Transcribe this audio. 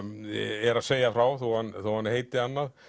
er að segja frá þó hann þó hann heiti annað